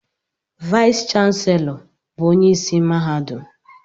Vice Chancellor bụ onye isi mahadum.